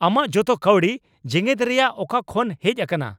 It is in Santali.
ᱟᱢᱟᱜ ᱡᱚᱛᱚ ᱠᱟᱹᱣᱰᱤ ᱡᱮᱜᱮᱛ ᱨᱮᱭᱟᱜ ᱚᱠᱟ ᱠᱷᱚᱱ ᱦᱮᱡ ᱟᱠᱟᱱᱟ ?